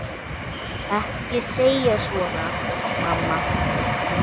Ekki segja svona, mamma.